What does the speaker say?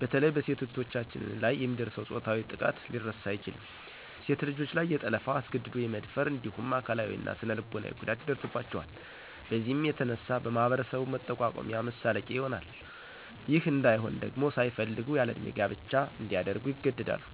በተለይ በሴት እህቶቻችን ላይ የሚደርሰው ፆታዊ ጥቃት ሊረሳ አይችልም .ሴት ልጆች ላይ የጠለፋ, አስገድዶ የመደፈር እንዲሁም አካላዊ እና ስነልቦናዊ ጉዳት ይደርስባቸዋል። በዚህም የተነሳ በማህበረሰቡ መጠቋቆሚያ መሳለቂያ ይሆናል .ይህ እንይሆን ደግሞ ሳይፈልጉ ያለእድሜ ጋብቻ እንዲያደርጉ ይገደዳሉ።